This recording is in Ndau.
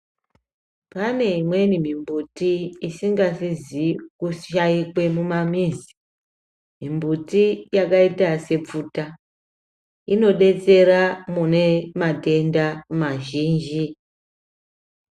Pane imweni mimbuti isingasizi kushaikwe mumamizi. Mimbuti yakaita sepfuta, inodetsera mune matenda mazhinji.